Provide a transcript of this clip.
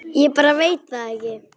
Ég bara veit það ekki.